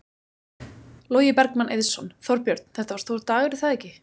Logi Bergmann Eiðsson: Þorbjörn, þetta var stór dagur er það ekki?